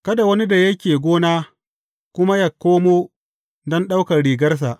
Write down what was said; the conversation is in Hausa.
Kada wani da yake gona kuma yă koma don ɗaukar rigarsa.